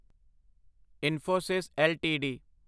Infosys LTD